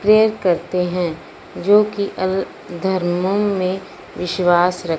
prayer करते हैं जो कि अल धर्मो में विश्वास रख--